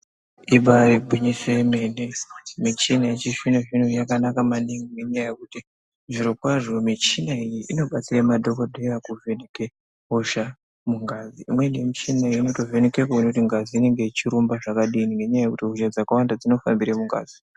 Ibaari gwinyiso yemene, michina yechizvino zvino yakanaka maningi ngenyaya yekuti zvirokwazvo michina iyi inobatsira madhokodheya kuvheneke hosha mungazi, imweni michina iyi inotovheneke kuona kuti ngazi inenge yechirumba zvakadini ngenyaya yekuti hosha dzakawanda dzinohambire mungazi.